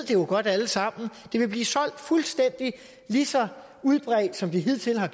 jo godt alle sammen det vil blive solgt og være fuldstændig lige så udbredt som det hidtil har